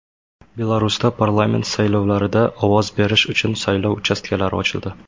Belarusda parlament saylovlarida ovoz berish uchun saylov uchastkalari ochildi.